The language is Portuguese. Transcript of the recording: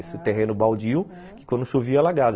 Esse terreno baldio, que quando chovia, alagava.